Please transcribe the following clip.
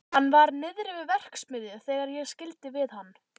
Hann var niðri við verksmiðju þegar ég skildi við hann.